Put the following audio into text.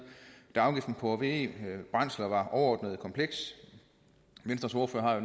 da afgiften på ve brændsler var overordentlig kompleks venstres ordfører har jo